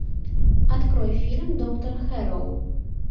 открой фильм доктор хэрроу